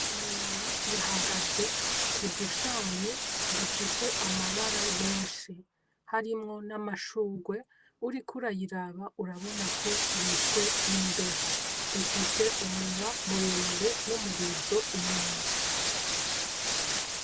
Iyi nyoni ihagaze kudushami dufise amabara meshi harimwo na mashurwe, uriko urayiraba urabona ko yishwe nimbeho ifise umunwa muremure n'umurizo inyuma